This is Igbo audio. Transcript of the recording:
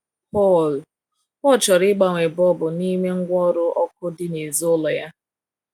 PAUL PAUL chọrọ ịgbanwe bọlbụ n’ime ngwaọrụ ọkụ dị n’èzí ụlọ ya.